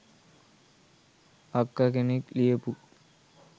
අක්ක කෙනෙක් ලියපු